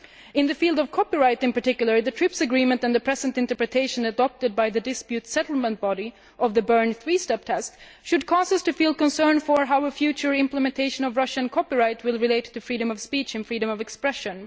In the field of copyright in particular, the TRIPS agreement and the present interpretation adopted by the disputes settlement body of the Berne three step test should cause us to feel concern for how future implementation of Russian copyright will relate to freedom of speech and freedom of expression.